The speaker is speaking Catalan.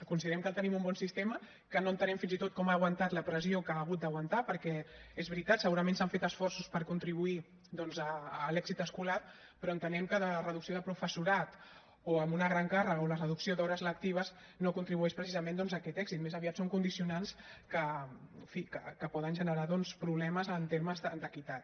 considerem que tenim un bon sistema que no entenem fins i tot com ha aguantat la pressió que ha hagut d’aguantar perquè és veritat segurament s’han fet esforços per contribuir doncs a l’èxit escolar però entenem que la reducció de professorat o amb una gran càrrega o la reducció d’hores lectives no contribueix precisament a aquest èxit més aviat són condicionants que en fi poden generar doncs problemes en termes d’equitat